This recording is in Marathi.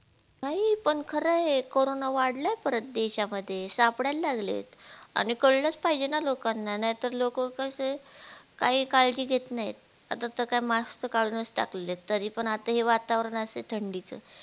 नाही पण खर हे corona वाढलाय परत देशामध्ये सापडायला लागलेत आणि कळलच पाहिजे न लोकांना नाही तर लोक कसे काही काळजी घेत नाहीत आता त काय mask त काढूनच टाकले तरीपण आता हे वातावरण असं थंडीच